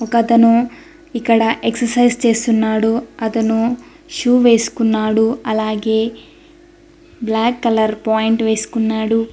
ఒకతను ఇక్కడ ఎక్ససైజ్ చేస్తున్నాడు అతను షూ వేసుకున్నాడు అలాగే బ్లాక్ కలర్ పాయింట్ వేసుకున్నాడు.